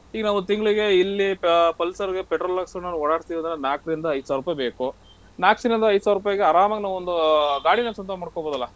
ಈಗ ನಾವ್ ತಿಂಗ್ಳಿಗೆ ಇಲ್ಲಿ Pu~ Pulsar ಗೆ petrol ಹಾಕ್ಸ್ಕೊಂಡ್ ಓಡಾಡ್ತಿವಂದ್ರೆ ನಾಲ್ಕ್ರಿಂದ ಐದ್ ಸಾವ್ರುಪೈ ಬೇಕು. ನಾಲ್ಕ್ರಿಂದ ಐದ್ ಸಾವ್ರುಪೈಗೆ ಆರಾಮಾಗ್ ನಾವು ಒಂದು ಗಾಡಿನ ಸ್ವಂತ ಮಾಡ್ಕೊಬಹುದಲ್ಲ.